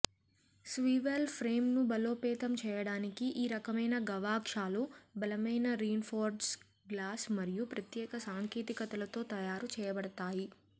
swivel ఫ్రేమ్ను బలోపేతం చేయడానికి ఈ రకమైన గవాక్షాలు బలమైన రీన్ఫోర్స్డ్ గ్లాస్ మరియు ప్రత్యేక సాంకేతికతలతో తయారు చేయబడతాయి